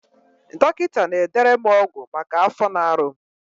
Dọkịta na-edere m ọgwụ maka afọ na-arụ m